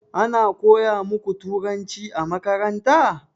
Ana koya muku turanci a makaranta?